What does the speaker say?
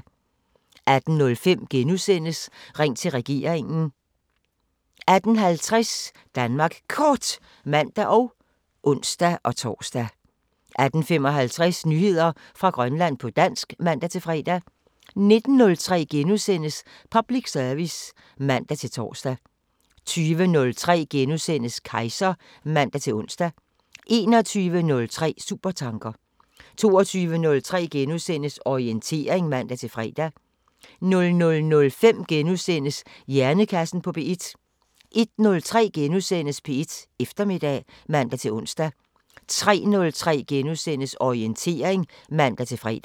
18:05: Ring til regeringen * 18:50: Danmark Kort (man og ons-tor) 18:55: Nyheder fra Grønland på dansk (man-fre) 19:03: Public service *(man-tor) 20:03: Kejser *(man-ons) 21:03: Supertanker 22:03: Orientering *(man-fre) 00:05: Hjernekassen på P1 * 01:03: P1 Eftermiddag *(man-ons) 03:03: Orientering *(man-fre)